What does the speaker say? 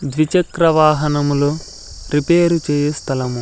ద్విచక్ర వాహనములు రిపేర్ చేయి స్థలము.